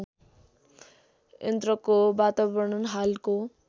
यन्त्रको वातावरण हालको